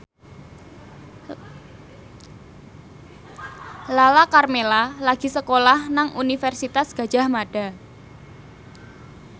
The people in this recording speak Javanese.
Lala Karmela lagi sekolah nang Universitas Gadjah Mada